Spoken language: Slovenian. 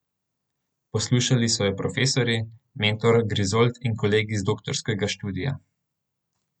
Poslušali so jo profesorji, mentor Grizold in kolegi z doktorskega študija.